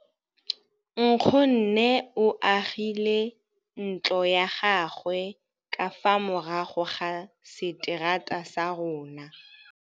Nkgonne o agile ntlo ya gagwe ka fa morago ga seterata sa rona.